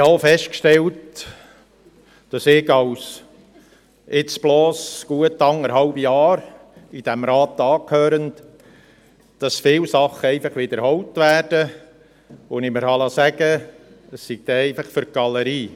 Auch habe ich, der ich jetzt bloss seit rund anderthalb Jahren diesem Rat angehöre, festgestellt, dass viele Sachen einfach wiederholt werden, und ich liess mir sagen, dies sei einfach für die Galerie.